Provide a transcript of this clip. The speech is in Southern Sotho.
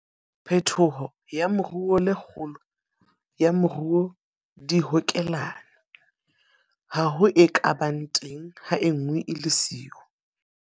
Phetolo ya moruo le kgolo ya moruo di hokelane. Ha ho e ka bang teng ha e nngwe e le siyo.